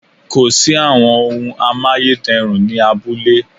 Kò sí àwọn ohun amáyédẹrùn ni abúlé